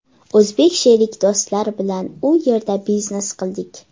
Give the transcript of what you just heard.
O‘zbek sherik do‘stlar bilan u yerda biznes qildik.